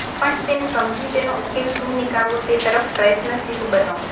પણ તેને સમજી તેનો ઉકેલ શું નીકાળવો તે તરફ પ્રયત્નશીલ બનો